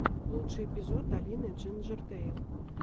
лучший эпизод алины джинджертэйл